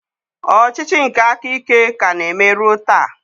Ọchịchị nke aka ike ka na-eme ruo taa.